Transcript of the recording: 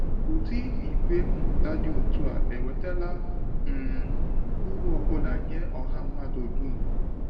Ụdị ìgwè mmụta dị otú a ewetala um uru ọ bụla nye ọha mmadụ dum?